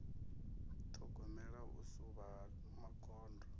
ṱhogomela u suvha ha magondo